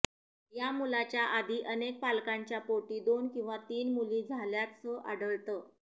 या मुलाच्या आधी अनेक पालकांच्या पोटी दोन किंवा तीन मुली झाल्याचं आढळतं